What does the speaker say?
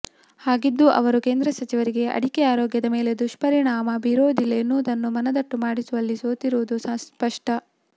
ಹಾಗಿದ್ದೂ ಅವರು ಕೇಂದ್ರ ಸಚಿವರಿಗೆ ಅಡಿಕೆ ಆರೋಗ್ಯದ ಮೇಲೆ ದುಷ್ಪರಿಣಾಮ ಬೀರುವುದಿಲ್ಲ ಎನ್ನುವುದನ್ನು ಮನದಟ್ಟು ಮಾಡಿಸುವಲ್ಲಿ ಸೋತಿರುವುದು ಸ್ಪಷ್ಟ